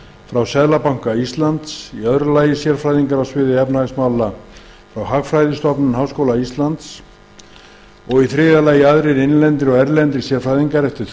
frá seðlabanka íslands annars sérfræðingar á sviði efnahagsmála frá hagfræðistofnun háskóla íslands þriðji aðrir innlendir og erlendir sérfræðingar eftir